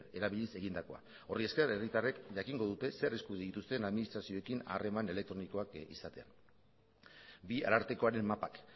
erabiliz egindakoa horri esker herritarrek jakingo dute zer eskubide dituzten administrazioekin harreman elektronikoak izatea bi arartekoaren mapak